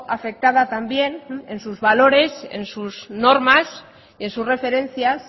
afectada también en sus valores en sus normas en sus referencias